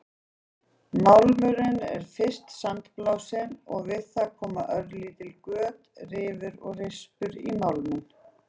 Málmurinn er fyrst sandblásinn og við það koma lítil göt, rifur og rispur í málminn.